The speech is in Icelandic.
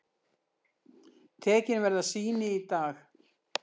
Tekin verða sýni í dag.